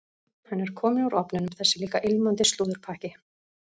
Hann er kominn úr ofninum, þessi líka ilmandi slúðurpakki.